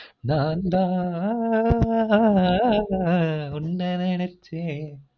நான் தாஆஆஆன் உன்ன நெனெச்சே